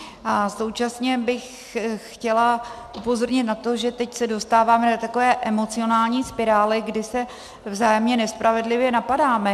A současně bych chtěla upozornit na to, že teď se dostáváme do takové emocionální spirály, kdy se vzájemně nespravedlivě napadáme.